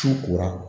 Su kora